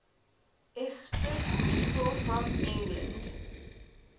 lgbt people from england